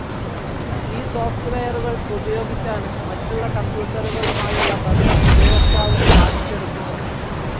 ഈ സോഫ്റ്റ്വെയറുകൾ ഉപയോഗിച്ചാണ് മറ്റുള്ള കമ്പ്യൂട്ടറുകളുമായുള്ള ബന്ധം ഉപയോക്താവ് സാധിച്ചെടുക്കുന്നത്.